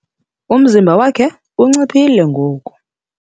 Umzimba wakhe unciphile ngoku.